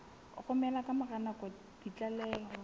romela ka mora nako ditlaleho